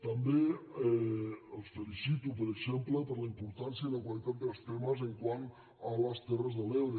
també els felicito per exemple per la importància i la qualitat dels temes quant a les terres de l’ebre